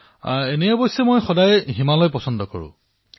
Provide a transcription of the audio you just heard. প্ৰধানমন্ত্ৰীঃ এনেয়ে মই সদায়েই হিমালয়লৈ যোৱাটো পচন্দ কৰো